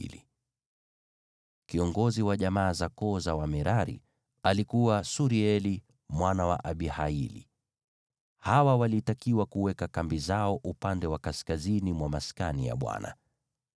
Kiongozi wa jamaa za koo za Wamerari alikuwa Surieli mwana wa Abihaili; hawa walitakiwa kuweka kambi zao upande wa kaskazini mwa Maskani.